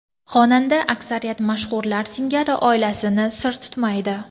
Xonanda aksariyat mashhurlar singari oilasini sir tutmaydi.